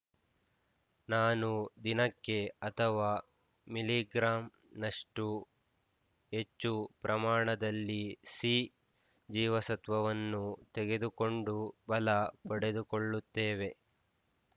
ನಾನು ದಿನಕ್ಕೆ ಅಥವಾ ಮಿಲಿಗ್ರಾಂ ನಷ್ಟು ಹೆಚ್ಚು ಪ್ರಮಾಣದಲ್ಲಿ ಸಿ ಜೀವಸತ್ವವನ್ನು ತೆಗೆದುಕೊಂಡು ಬಲ ಪಡೆದುಕೊಳ್ಳುತ್ತೇವೆ